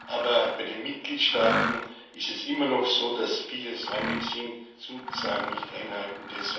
Aber bei den Mitgliedstaaten ist es immer noch so, dass viele säumig sind, Zusagen nicht einhalten.